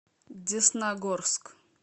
десногорск